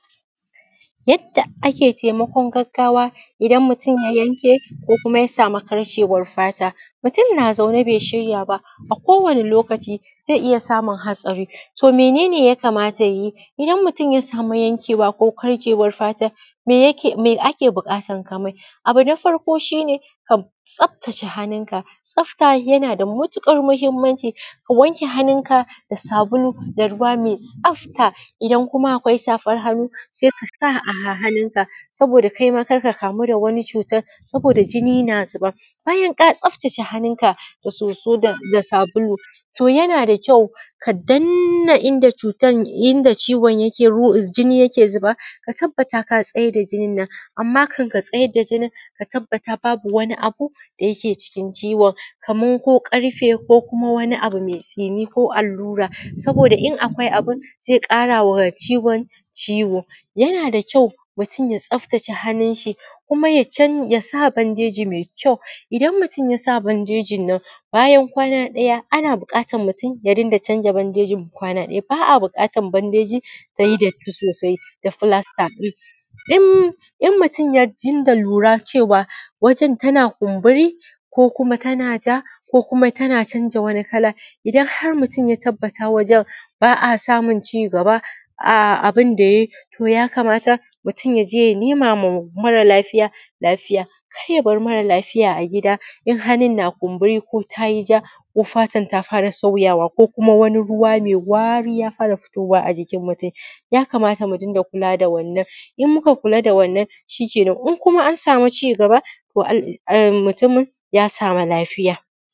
Yadda ake taimakon gaggawa idan mutum ya yanke, ko kuma ya samu karcewar fata. Mutum na zaune bai shirya ba a kowane ne lokaci zai iya samun haɗari. To mene ne yakamata ya yi idan mutum ya samu yankewa, ko karcewar fata, me ake buƙatar ka mai? Abu na farko shi ne ka tsaftace hannunka, tsafta yna da matuƙar muhimmanci, ka wanke hannunka da sabulu da ruwa mai tsafta. Idan kuma akwai safan hannu sai ka sa a hannunka. Saboda kai ma kar ka kamu da wani cutan, saboda da jinni na zuba. Bayan ka tsaftace hannunka da soso da sbulu, to yana da kyau ka danna inda cutan, inda ciwon yake inda jinin yake zuba, ka tabbata ka tsai da jinin nan, amma kan ka tsai da jinin ka tabbata babu wani abu da yake cikin ciwon. Kaman ko ƙarfe ko wani abu mai tsini ko allura saboda in akwai abun zai ƙarawa ciwon ciwo. Yana da kyau mutum ta tsaftace hannun shi kuma ya sa bandeji mai kyau, idan mutum ya sa bandejin nan bayan kwana ɗaya ana buƙatar mtum ya dinga canza bandejin kwana ɗaya, ba a buƙatan bandeji ta y i datti sosai da fulasta ɗin. In in mutum ya dinga lura cewa wajen tana kuburi ko kuma ta ja, ko kuma tana canza wani kala, idan har mutum ya tabbata wajen ba a samun cigaba a abin da to yakamata mutum ya je ya nema wa mara lafiaya lafiya. Kar ya bar mara lafiya a gida idan hannun na kumburi ko ta yi ja ko fatan ta fara sauyawa ko kuma wani ruwa mai wari ya fara fitowa a jikin mutum. Yakamata mu dinga kula da wannan, in muka kula da wannan shikenan, in kuma an samu cigaba to mutumin ya sami lafiya.